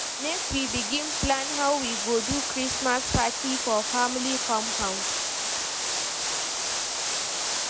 Make we begin plan how we go do Christmas party for family compound.